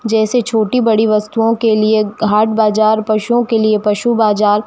जैसे छोटी बड़ी वस्तुओं के लिए हाट बाज़ार पशुओं के पशु बाजार।